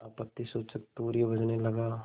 आपत्तिसूचक तूर्य बजने लगा